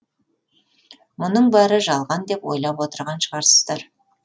мұның бәрі жалған деп ойлап отырған шығарсыздар